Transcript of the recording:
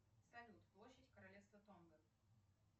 салют площадь королевства тонга